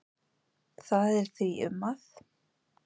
Það er því um að